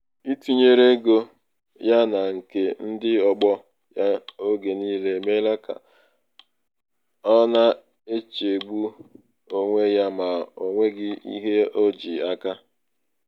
ịtụnyere ego ya na nke um ndị ọgbọ ya oge niile emeela ka ọ na-echegbu onwe ya ma o nweghị ihe o ji aka.